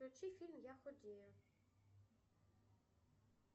включи фильм я худею